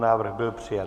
Návrh byl přijat.